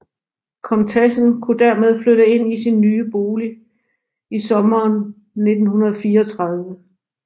Komtessen kunne dermed flytte ind i sin ny bolig i sommeren 1934